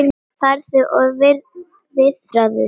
Farðu og viðraðu þig